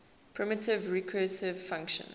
primitive recursive function